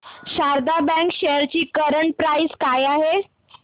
Sharda bank shares ची current price काय आहे